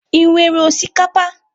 Ị nwere osikapa?